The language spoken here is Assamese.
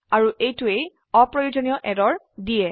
আৰু এইটোৱে অপ্ৰয়োজনীয় এৰৰ দিয়ে